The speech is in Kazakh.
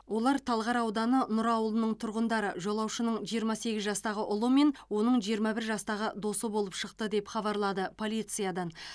олар талғар ауданы нұра ауылының тұрғындары жолаушының жиырма сегіз жастағы ұлы мен оның жиырма бір жастағы досы болып шықты деп хабарлады полициядан